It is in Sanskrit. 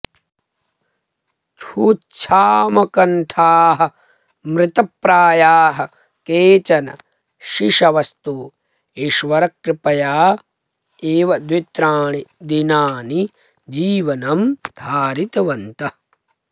क्षुत्क्षामकण्ठाः मृतप्रायाः केचन शिशवस्तु ईश्वरकृपया एव द्वित्राणि दिनानि जीवनं धारितवन्तः